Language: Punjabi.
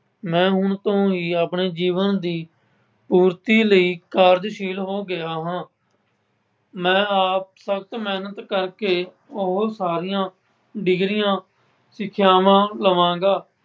ਮੈਂ ਹੁਣ ਤੋਂ ਹੀ ਆਪਣੇ ਜੀਵਨ ਦੀ ਪੂਰਤੀ ਲਈ ਕਾਰਜਸ਼ੀਲ ਹੋ ਗਿਆਂ ਹਾਂ। ਮੈਂ ਆਪ ਸਖਤ ਮਿਹਨਤ ਕਰਕੇ ਬਹੁਤ ਸਾਰੀਆਂ ਡਿਗਰੀਆਂ, ਸਿੱਖਿਆਂਵਾਂ ਕਰ ਲਵਾਂਗਾ।